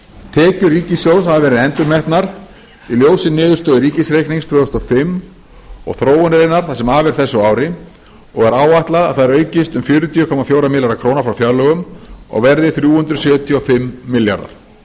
tekjur ríkissjóðs hafa verið endurmetnar í ljósi niðurstöðu ríkisreiknings tvö þúsund og fimm og þróunarinnar það sem af er þessu ári og er áætlað að þær aukist um fjörutíu komma fjóra milljarða króna frá fjárlögum og verði þrjú hundruð sjötíu og fimm milljarðar